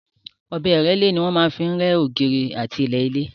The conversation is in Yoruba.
Ọ̀bẹ ìrẹ́lé ni wọ́n máa ń fi rẹ́ ògiri àti ilẹ̀ ilé.